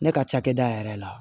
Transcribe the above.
Ne ka cakɛda yɛrɛ la